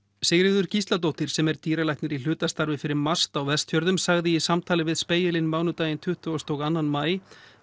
Sigríður Gísladóttir sem er dýralæknir í hlutastarfi fyrir MAST á Vestfjörðum sagði í samtali við Spegilinn mánudaginn tuttugustu og annan maí